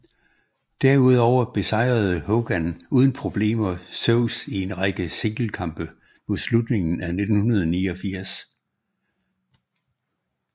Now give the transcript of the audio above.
Derudover besejrede Hogan uden problemer Zeus i en række singlekampe mod slutningen af 1989